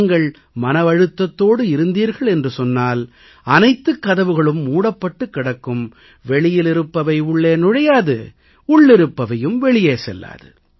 நீங்கள் மனவழுத்தத்தோடு இருந்தீர்கள் என்று சொன்னால் அனைத்துக் கதவுகளும் மூடப்பட்டுக் கிடக்கும் வெளியிலிருப்பவை உள்ளே நுழையாது உள்ளிருப்பவையும் வெளியே செல்லாது